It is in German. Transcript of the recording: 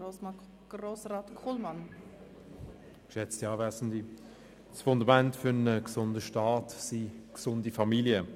Das Fundament für einen gesunden Staat sind gesunde Familien.